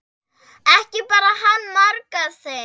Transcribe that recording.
Ekki bar hann margar heim.